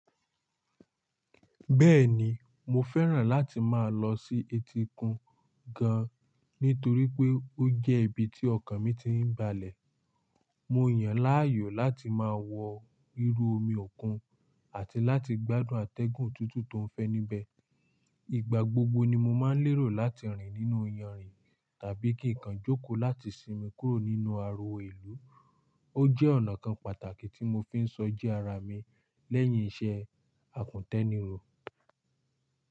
Bẹ́ẹ̀ni, mo fẹ́ràn láti máa lọ sí etíkun gan, nítorí pé ó jẹ́ ibi tí ọkàn mi ti ń balẹ̀. Mo yàn láàyò láti máa wọ irú omi òkun àti láti gbádùn atẹ́gùn tútù tó ń fẹ́ níbẹ̀. Ìgbà gbogbo ni mo máa ń lérò láti rìn nínú iyanrìn tàbí kí n kan jókòó láti sinmi kúrò nínú ariwo ìlú. Ó jẹ́ ọ̀nà kan pàtàkì tí mo fi ń sọjí ara mi lẹ́yìn iṣẹ́ àkùntẹ́niró.